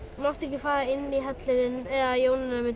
mátti ekki fara inn í hellinn ef Jónína mundi